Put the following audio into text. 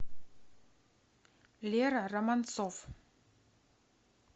лера романцов